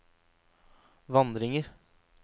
vandringer